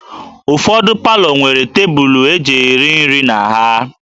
Ụfọdụ palọ nwere tebụlụ e ji eri nri na ha